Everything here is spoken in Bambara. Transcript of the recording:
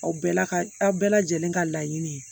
Aw bɛɛ la ka aw bɛɛ lajɛlen ka laɲini ye